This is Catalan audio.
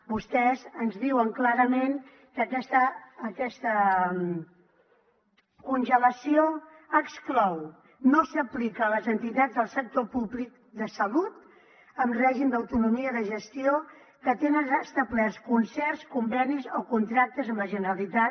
vostès ens diuen clarament que aquesta congelació no s’aplica a les entitats del sector públic de salut en règim d’autonomia de gestió que tenen establerts concerts convenis o contractes amb la generalitat